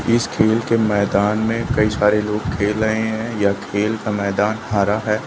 इस खेल के मैदान में कई सारे लोग खेल रहे है या खेल का मैदान हरा है।